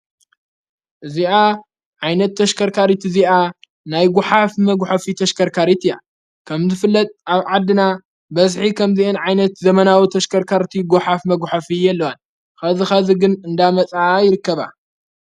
እዚኣ ዓይነት ተሽከርካሪት እዚኣ ናይ ጐኃፍ መጉሖፊ ተሽከርካሪት እያ ከምዝ ፍለጥ ኣብ ዓድና በስሒ ኸምዚእን ዓይነት ዘመናዊ ተሽከርካርእቱ ጐኃፍ መጕሖፍ የለዋን ኸዚ ኸዚ ግን እንዳመጽዓ ይርከባ።